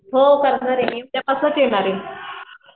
हो करणार आहे मी उद्या पासूनच येणार आहे.